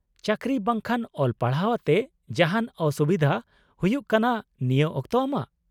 -ᱪᱟᱠᱨᱤ ᱵᱟᱝᱠᱷᱟᱱ ᱚᱞ ᱯᱟᱲᱦᱟᱣ ᱟᱛᱮ ᱡᱟᱦᱟᱱ ᱚᱥᱩᱵᱤᱫᱷᱟ ᱦᱩᱭᱩᱜ ᱠᱟᱱᱟ ᱱᱤᱭᱟᱹ ᱚᱠᱛᱚ ᱟᱢᱟᱜ ?